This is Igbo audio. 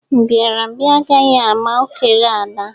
Mbiarambia agaghị ama okere ala